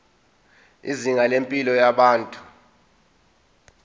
izinga lempilo yabantu